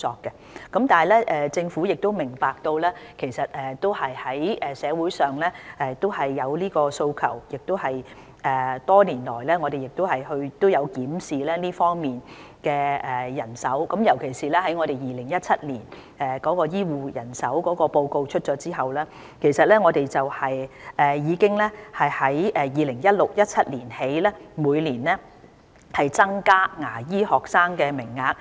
然而，政府明白到社會上有訴求，我們多年來亦有檢視這方面的人手，尤其是在2017年公布有關醫護人手的報告後，我們從 2016-2017 年度開始，每年已經增加牙醫學生的名額。